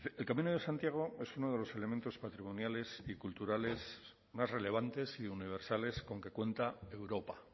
el camino de santiago es uno de los elementos patrimoniales y culturales más relevantes y universales con que cuenta europa